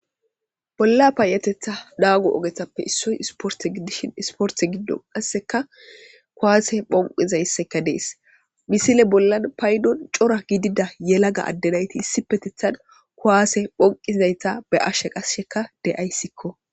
Bolla payetetha daago ogetappe issoy isporte giddishin isporte giddon qasseka kuwaase phonqizaysseka dees misile bollan paydon cora gidida yelaga addenayti issi petithan kuwaase phonqizzayta be ashshe qassheka de'yssiko.